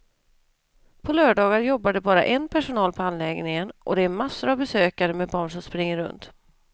På lördagar jobbar det bara en personal på anläggningen och det är massor av besökare med barn som springer runt.